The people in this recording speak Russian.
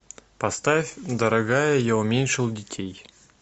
поставь дорогая я уменьшил детей